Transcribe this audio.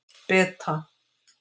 Beta